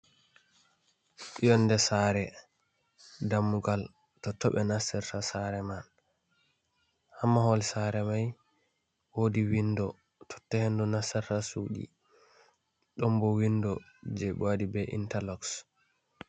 Yonde sare, dammugal, totto ɓe nastorta sare man. Ha mahol sare mai, woodi windo totta hendu nastata suudi. Ɗon bo windo jei ɓe waɗi be intaloks.